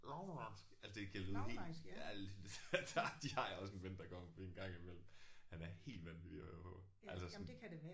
Langelandsk altså det kan lyde helt ja det det har jeg også en ven der kommer fordi en gang imellem. Han er helt vanvittig at høre på altså sådan